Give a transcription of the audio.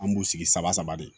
An b'u sigi sama sama de